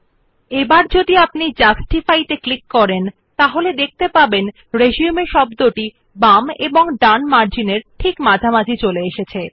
if we click on justify you will see that the word resume is now aligned such that the text is uniformly placed between the right and left margins of the page